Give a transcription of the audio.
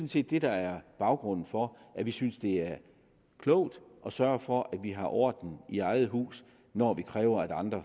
set det der er baggrunden for at vi synes det er klogt at sørge for at vi har orden i eget hus når vi kræver at andre